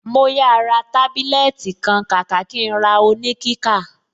Màá yà ra tábílẹ́ẹ́tì kan kàkà kí n ra oníkíkà.